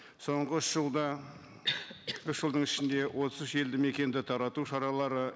соңғы үш жылда үш жылдың ішінде отыз үш елді мекенді тарату шаралары